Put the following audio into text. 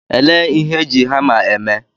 Elee ihe eji hama eme?